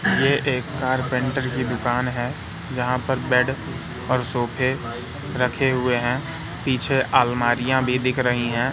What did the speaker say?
ये एक कारपेंटर की दुकान है यहां पर बेड और सोफे रखे हुए है पीछे अलमारियां भी दिख रही है।